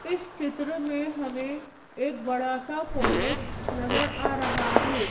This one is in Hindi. इस चित्र में हमें एक बड़ा सा कॉलेज नजर आ रहा है।